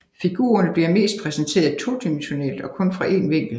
Figurerne bliver mest præsenteret todimensionelt og kun fra en vinkel